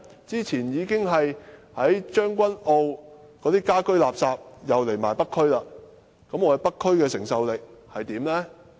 早前政府已經把將軍澳的家居垃圾搬到北區處理，北區的承受能力足夠嗎？